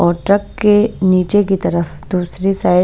और ट्रक के नीचे की तरफ दूसरी साइड --